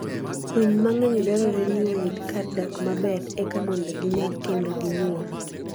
Winy mang'eny dwarore ni oyud kar dak maber eka mondo ginyag kendo ginyuol.